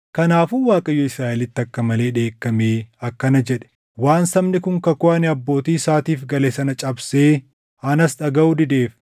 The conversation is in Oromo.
Kanaafuu Waaqayyo Israaʼelitti akka malee dheekkamee akkana jedhe; “Waan sabni kun kakuu ani abbootii isaatiif gale sana cabsee anas dhagaʼuu dideef,